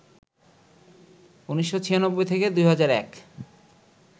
১৯৯৬ থেকে ২০০১